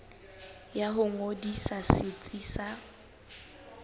ya ho ngodisa setsi sa